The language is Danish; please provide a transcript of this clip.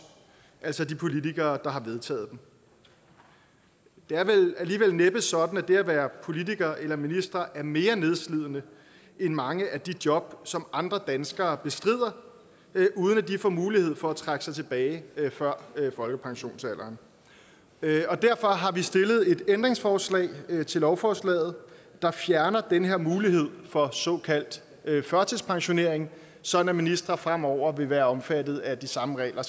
altså de politikere der har vedtaget dem det er vel alligevel næppe sådan at det at være politiker eller minister er mere nedslidende end mange af de job som andre danskere bestrider uden at de får mulighed for at trække sig tilbage før folkepensionsalderen derfor har vi stillet et ændringsforslag til lovforslaget der fjerner den her mulighed for såkaldt førtidspensionering sådan at ministre fremover vil være omfattet af de samme regler